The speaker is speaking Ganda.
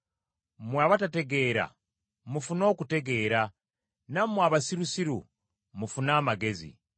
Mmwe abatategeera mufune okutegeera; nammwe abasirusiru mufune amagezi.